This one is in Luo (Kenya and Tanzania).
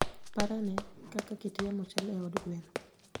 Par ane kaka kit yamo chal e od gwen.